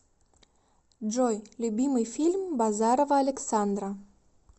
джой любимый фильм базарова александра